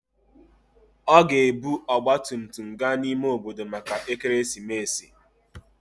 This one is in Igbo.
Ọ ga-ebu ọgba tum tum gaa n'ime obodo maka ekeresimesi.